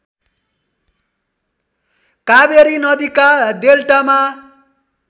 कावेरी नदीका डेल्टामा